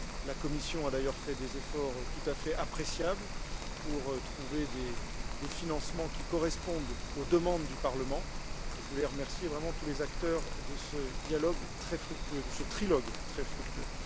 La Commission a d'ailleurs fait des efforts tout à fait appréciables pour trouver des financements qui correspondent aux demandes du Parlement, et je voulais remercier, vraiment, tous les acteurs de ce trilogue très fructueux.